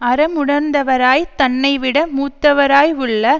அறம் உணர்ந்தவராய்த் தன்னை விட மூத்தவராய் உள்ள